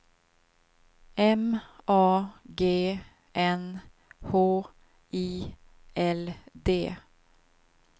M A G N H I L D